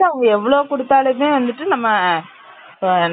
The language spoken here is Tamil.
so இருக்குற time அ தான் பாத்துக்கணும்